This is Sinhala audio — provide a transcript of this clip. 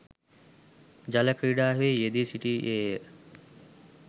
ජල ක්‍රීඩාවෙහි යෙදී සිටියේ ය.